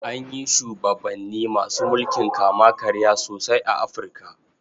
An yi shubabanni masu mulkin kama-karya sosai a Afirka.